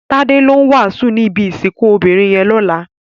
Tade ló wásùn ni ibi isikùn óbirin yèn lòlá